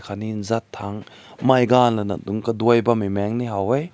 katni zat tang mai gan lana dünk kadoi bam mai ha weh.